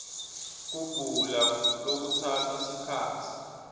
kugula lokutsatsa sikhatsi